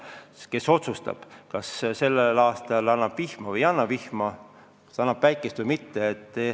Just tema otsustab, kas ta annab vihma või ei anna vihma, kas ta annab päikest või mitte.